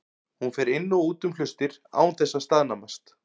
Hún fer inn og út um hlustir án þess að staðnæmast.